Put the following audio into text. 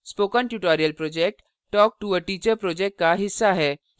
spoken tutorial project talktoateacher project का हिस्सा है